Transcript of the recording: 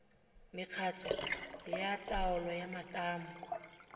mekgatlho ya taolo ya matamo